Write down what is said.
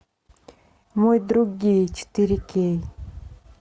мой друг гей четыре кей